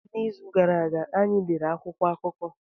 N'izu gara aga, anyị lere akwụkwọ akụkọ.